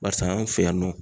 Barisa anw fɛ yan nɔ